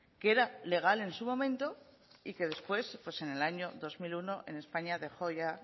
que era legal en su momento y que después en el año dos mil uno en españa dejó ya